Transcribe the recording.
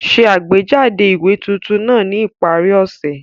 Ṣe àgbéjáde ìwé tuntun náà ní ìparí ọ̀sẹ̀!